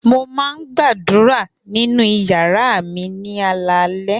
Mo máa ń gbàdúrà nínú ìyàrá mi ní alaalẹ́.